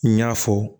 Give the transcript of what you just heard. N y'a fɔ